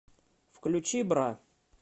включи бра